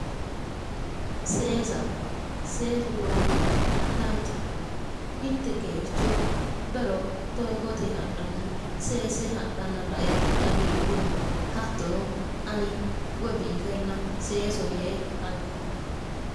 Seesa, seesu lowo geeshsha danchaho. mitte geercho bero doogote hadhanni seesse hadhanna lae hagiidhunma hattono ani hatto biifella seeso yee halchumma.